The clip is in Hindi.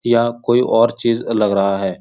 या कोई और चीज़ लग रहा है --